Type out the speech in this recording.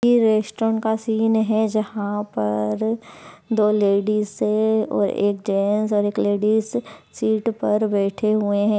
ये रेस्टोरेंट का सीन है जहां पर दो लेडीज है और एक जेन्ट्स और एक लेडीज सीट पर बैठे हुए हैं।